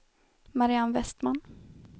Mariann Vestman